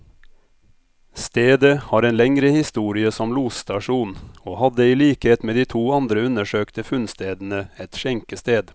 Stedet har en lengre historie som losstasjon, og hadde i likhet med de to andre undersøkte funnstedene, et skjenkested.